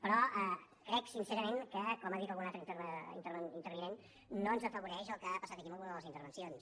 però crec sincerament que com ha dit algun altre intervinent no ens afavoreix el que ha passat aquí en alguna de les intervencions